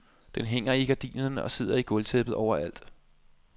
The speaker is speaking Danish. Den hænger i gardinerne og sidder i gulvtæppet overalt.